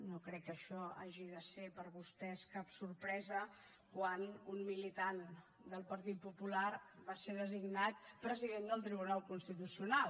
no crec que això hagi de ser per vostès cap sorpresa quan un militant del partit popular va ser designat president del tribunal constitucional